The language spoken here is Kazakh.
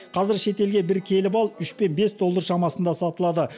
қазір шетелге бір келі бал үш пен бес доллар шамасында сатылады